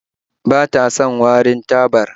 Ba ta son warin tabar